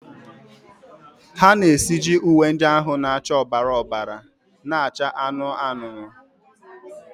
ha na-esiji uwe ndị ahụ na-acha ọbara ọbara na-acha anụnụ anụnụ.